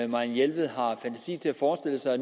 marianne jelved har fantasi til at forestille sig